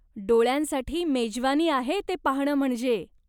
डोळ्यांसाठी मेजवानी आहे ते पाहणं म्हणजे.